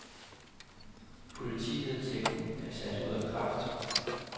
Politivedtægten er sat ud af kraft.